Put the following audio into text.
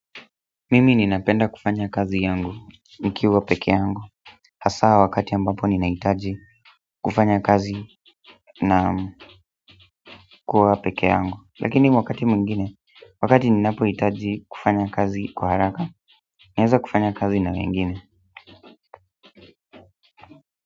Mimi ninapenda kufanya kazi yangu nikiwa peke yangu. Hasa wakati ambapo ninahitaji kufanya kazi na kuwa peke yangu. Lakini wakati mwingine, wakati ninapohitaji kufanya kazi kwa haraka, naeza kufanya kazi na wengine.